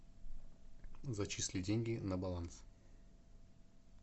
зачисли деньги на баланс